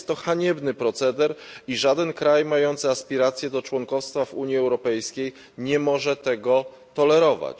Jest to haniebny proceder i żaden kraj mający aspiracje do członkostwa w Unii Europejskiej nie może tego tolerować.